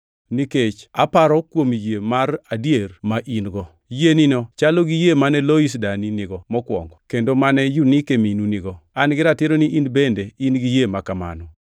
Nikech aparo kuom yie mar adier ma in-go. Yienino chalo gi yie mane Lois dani nigo mokwongo. Kendo mane Yunike minu nigo. An gi ratiro ni in bende in gi yie makamano